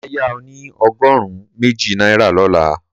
Mà á yá ọ ní ọgọ́rùn-ún méjì náírà lọ́la